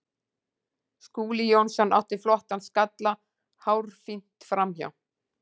Skúli Jónsson átti flottan skalla hárfínt framhjá.